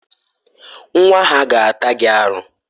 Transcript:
Nwa ha ga-ata gị aru.